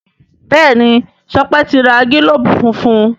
Béèni Sope ti rà gilobu fúnfún.